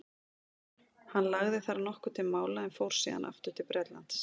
hann lagði þar nokkuð til mála en fór síðan aftur til bretlands